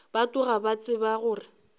ba tloga ba tseba gore